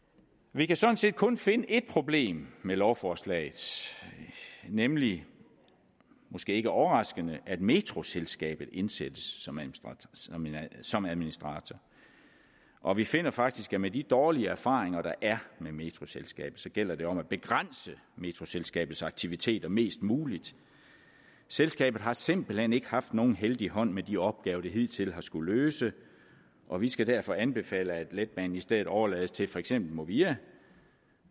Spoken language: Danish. vi kan sådan set kun finde et problem med lovforslaget nemlig måske ikke overraskende at metroselskabet indsættes som som administrator og vi finder faktisk at med de dårlige erfaringer der er med metroselskabet gælder det om at begrænse metroselskabets aktiviteter mest muligt selskabet har simpelt hen ikke haft nogen heldig hånd med de opgaver det hidtil har skullet løse og vi skal derfor anbefale at letbanen i stedet overlades til for eksempel movia